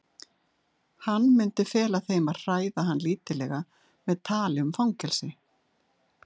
Hann myndi fela þeim að hræða hann lítillega með tali um fangelsi.